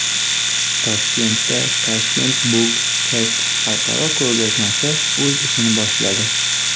Toshkentda Tashkent Book Fest xalqaro ko‘rgazmasi o‘z ishini boshladi.